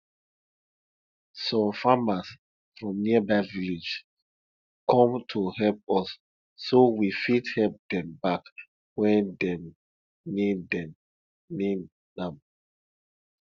some farmers from nearby villages come to help us so we fit help dem back when dem need dem need am